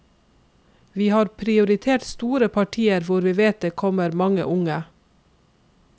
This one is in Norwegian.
Vi har prioritert store partier hvor vi vet det kommer mange unge.